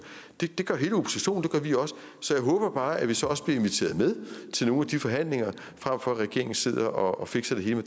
det gør hele oppositionen det gør vi også så jeg håber bare at vi så også bliver inviteret med til nogle af de forhandlinger frem for at regeringen sidder og fikser det hele